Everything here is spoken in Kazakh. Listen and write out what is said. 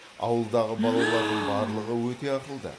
ауылдағы балалардың барлығы өте ақылды